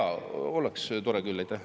Jaa, oleks tore küll.